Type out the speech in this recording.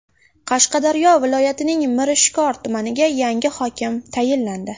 Qashqadaryo viloyatining Mirishkor tumaniga yangi hokim tayinlandi.